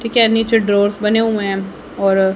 ठीक है नीचे ड्रावर्स बने हुए हैं और--